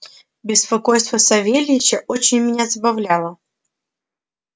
беспокойство савельича очень меня забавляло